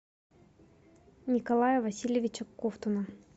николая васильевича ковтуна